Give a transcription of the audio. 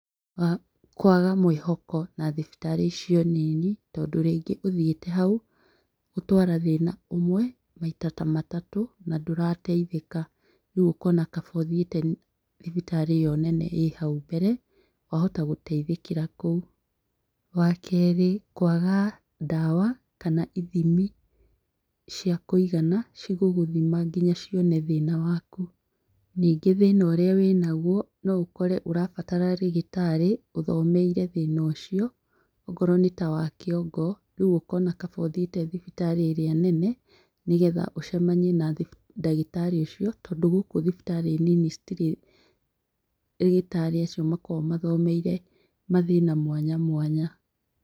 Kwaga mwĩhoko na thibitarĩ icio nini, tondũ rĩngĩ ũthiĩte hau, gũtwara thĩna ũmwe, maita ta matatũ, na ndũrateithĩka. Rĩu ũkona kaba ũthiĩte thibitarĩ ĩyo nene ĩ hau mbere, wahota gũteithĩkĩra kũu. Wa keerĩ, kwaga ndawa, kana ithimi cia kũigana, cigũgũthima nginya cione thĩna waku. Ningĩ thĩna ũrĩa wĩnaguo no ũkore ũrabatara rĩgĩtarĩ, ũthomeire thĩna ũcio, ongoro nĩ ta wa kĩongo, rĩu ũkona kaba ũthiĩte thibitarĩ ĩrĩa nene, nĩgetha ũcemanie na ndagĩtarĩ ũcio, tondũ gũkũ thibitarĩ nini citirĩ rĩgĩtarĩ acio makoragwo mathomeire mathĩna mwanya mwanya.